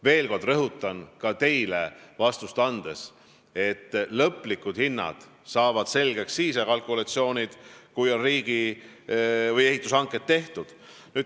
Veel kord rõhutan ka teile vastust andes, et lõplikud hinnad ja kalkulatsioonid saavad selgeks siis, kui ehitushanked on tehtud.